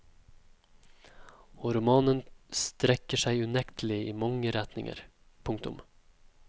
Og romanen strekker seg unektelig i mange retninger. punktum